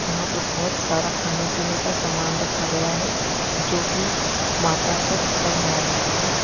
यहां पर बहोत सारा खाने पीने का सामान रखा गया है जो की माता पर चढ़ाया गया है।